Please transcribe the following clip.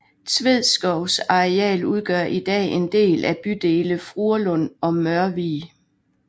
Tvedskovs areal udgør i dag en del af bydele Fruerlund og Mørvig